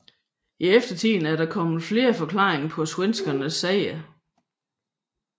I eftertiden er der kommet flere forklaringer på svenskernes sejr